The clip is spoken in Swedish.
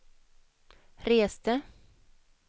reste